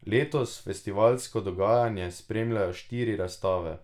Letos festivalsko dogajanje spremljajo štiri razstave.